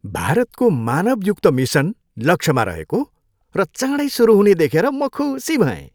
भारतको मानवयुक्त मिसन लक्ष्यमा रहेको र चाँडै सुरु हुने देखेर म खुसी भएँ।